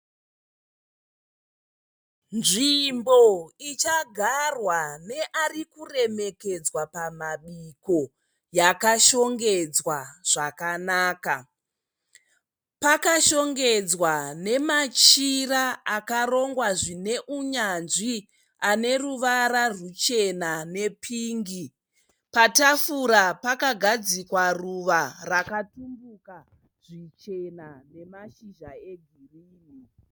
Nzvimbo ichagarwa neari kuremekedzwa pamabiko yakashongedzwa zvakanaka, pakashongedzwa nemachira akarongwa zvine unyanzvi ane ruvara ruchena nepingi patafura pakagadzikwa ruva rakatumbuka zvichena nemashizha egirini.